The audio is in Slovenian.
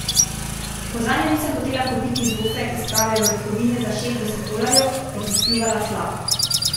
Ko zanjo nisem hotela kupiti zofe iz prave orehovine za šestdeset dolarjev, je popljuvala tla.